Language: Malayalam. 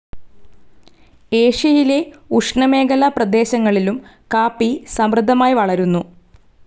ഏഷ്യയിലെ ഉഷ്ണമേഖലാപ്രദേശങ്ങളിലും കാപ്പി സമൃദ്ധമായി വളരുന്നു.